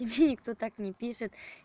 и мне никто так и не пишет